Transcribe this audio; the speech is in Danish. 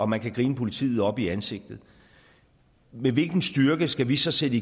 man kan grine politiet op i ansigtet med hvilken styrke skal vi så sætte